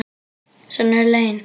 Svona eru lögin.